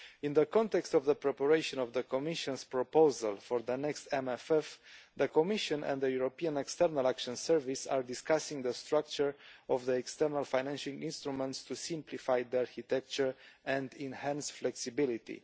In the context of the preparation of the Commission's proposal for the next MFF, the Commission and the European External Action Service are discussing the structure of the external financing instruments to simplify the architecture and enhance flexibility.